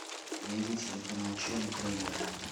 найди телеканал че на тв